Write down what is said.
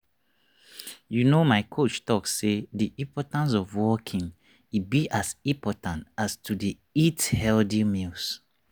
you know my coach talk say the importance of walking e be as important as to dey eat healthy meals.